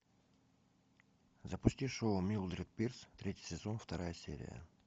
запусти шоу милдред пирс третий сезон вторая серия